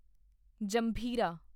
ਜੰਭੀਰਾ